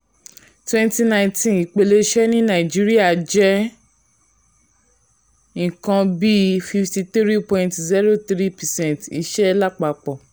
twenty nineteen ìpele iṣẹ́ ní nàìjíríà jẹ́ nǹkan bíi fifty three point zero three percent iṣẹ́ lápapọ̀.